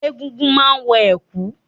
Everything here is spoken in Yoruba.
Egúngún má ń wọ̀ ẹ̀kú